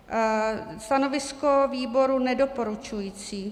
Stanovisko výboru nedoporučující.